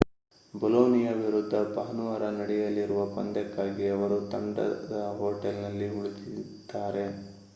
Bologna ವಿರುದ್ಧ ಭಾನುವಾರ ನಡೆಯಲಿರುವ ಪಂದ್ಯಕ್ಕಾಗಿ ಅವರು ತಂಡದ ಹೋಟೆಲ್‌ನಲ್ಲಿ ಉಳಿಯುತ್ತಿದ್ದಾರೆ